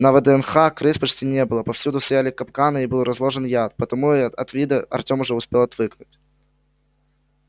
на вднх крыс почти не было повсюду стояли капканы и был разложен яд поэтому от их вида артём уже успел отвыкнуть